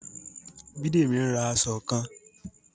Bidemi n rà aṣọ kàn.